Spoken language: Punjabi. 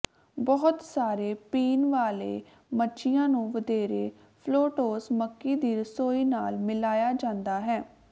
ਬਹੁਤ ਸਾਰੇ ਪੀਣ ਵਾਲੇ ਮੱਛੀਆਂ ਨੂੰ ਵਧੇਰੇ ਫ਼ਲੌਟੌਸ ਮੱਕੀ ਦੀ ਰਸੋਈ ਨਾਲ ਮਿਲਾਇਆ ਜਾਂਦਾ ਹੈ